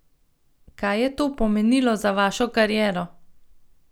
Kaj je to pomenilo za vašo kariero?